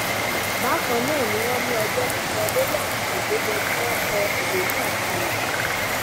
bákan náà ni wọn ní ọjọ ti lò lórí àsìkò tó yẹ kí wọn kọ ìwé náà kalẹ